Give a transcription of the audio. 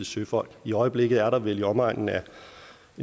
søfolk i øjeblikket er der vel i omegnen af